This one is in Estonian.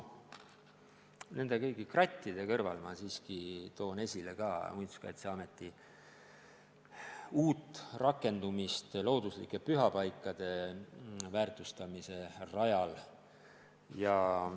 Kõigi nende krattide kõrval ma toon aga esile ka Muinsuskaitseameti uut rakendust looduslike pühapaikade väärtustamise rajal.